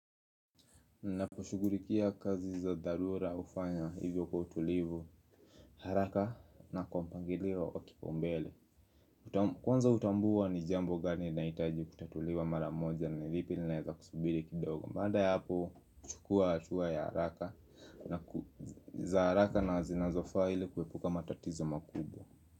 Ninaposhugulikia kazi za dharura hufanya hivyo kwa utulivu haraka na kwa mpangilio wa kipaumbele. Kwanza hutambua ni jambo gani linahitaji kutatuliwa mara moja na vipi vinaeza kusubiri kidogo baada ya hapo kuchukua hatua ya haraka na za haraka na zinazofaa ili kuepuka matatizo makubwa.